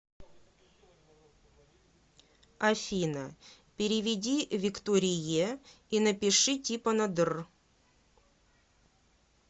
афина переведи викторие и напиши типа на др